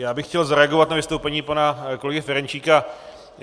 Já bych chtěl zareagovat na vystoupení pana kolegy Ferjenčíka.